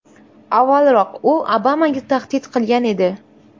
Avvalroq u Obamaga tahdid qilgan edi.